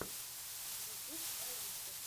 ютуб алистер